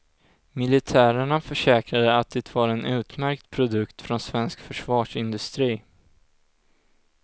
Militärerna försäkrade att det var en utmärkt produkt från svensk försvarsindustri.